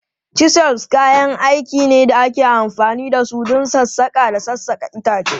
Chisels kayan aiki ne da ake amfani da su don sassaƙa da sassaƙa itace.